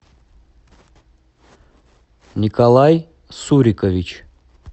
николай сурикович